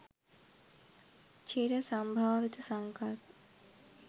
චිර සම්භාවිත සංකල්ප